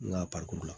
N ka la